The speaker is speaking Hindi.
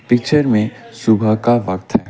पिक्चर में सुबह का वक्त है।